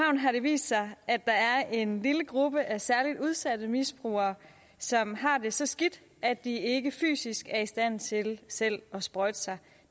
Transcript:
har det vist sig at der er en lille gruppe af særlig udsatte misbrugere som har det så skidt at de ikke fysisk er i stand til selv at sprøjte sig